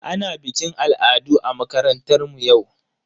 Ana bikin al'adu a makarantar mu yau.